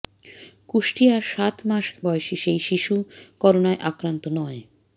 কুষ্টিয়ার সাত মাস বয়সী সেই শিশু করোনায় আক্রান্ত নয়